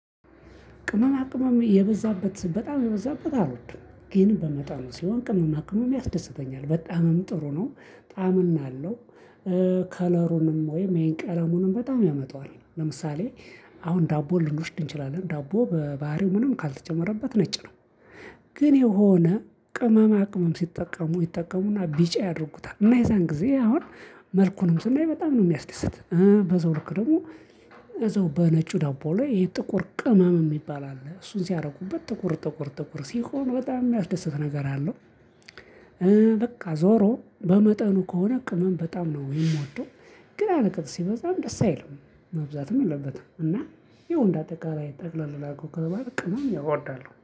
ቅመማ ቅመም የበዛበት በጣም የበዛበት አልወድም ግን በመጠኑ ሲሆን ቅመማ ቅመም ያስደስተኛል በጣምም ጥሩ ነው ጣምና አለው። ከለሩንም ወይም ይሄን ቀለሙንም በጣም ያመጣዋል ለምሳሌ አሁን ዳቦ ልንወስድ እንችላለን ዳቦ በባህሪው ምንም ካልተጨመረበት ነጭ ነው። ግን የሆነ ቅመማ ቅመም ሲጠቀሙ ይጠቀሙና ቢጫ ያደርጉታል እና የዛን ጊዜ አሁን መልኩንም ስናይ በጣም ነው የሚያስደስተን በዛው ልክ ደግሞ። እዛው በነጩ ደቦ ላይ ይሄ ጥቁር ቅመም የሚባል አለ እሱን ሲያደርጉበት ጥቁር ጥቁር ጥቁር ሲሆን በጣም የሚያስደስት ነገር አለው። በቃ ዞሮ በመጠኑ ከሆነ ቅመም በጣም ነው የምወደው። ግን አለቅጥ ሲበዛም ደስ አይልም። መብዛትም የለበትም እና ያው እንደ አጠቅላይ ጠቅለል ላድርገው ከተባለ ቅመም እወዳለሁ